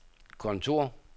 kontor